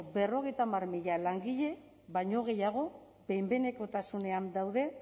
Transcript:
berrogeita hamar mila langile baino gehiago behin behinekotasunean daude